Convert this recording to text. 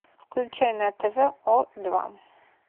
включай на тв о два